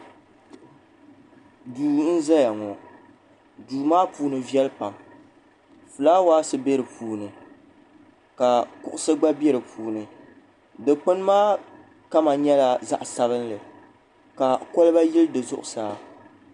duu n ʒɛya ŋɔ duu maa puuni viɛli pam fulaawaasi bɛ di puuni ka kuɣusi gba bɛ di puuni dikpuni maa kama nyɛla zaɣ sabinli ka kɔlba yili di zuɣusaa